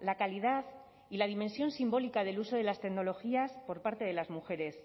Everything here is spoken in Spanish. la calidad y la dimensión simbólica del uso de las tecnologías por parte de las mujeres